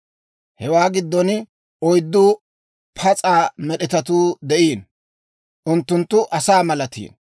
Hewaa giddon oyddu pas'a med'etatuu de'iino. Unttunttu asaa malatiino;